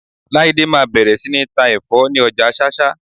Láídé máa bẹ̀rẹ̀ sí ní ta ẹ̀fọ́ ni ọjà Ṣáṣá.